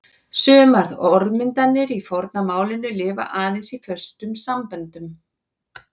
Sumar orðmyndir í forna málinu lifa aðeins í föstum samböndum.